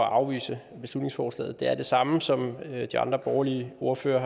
at afvise beslutningsforslaget er her det samme som de andre borgerlige ordførere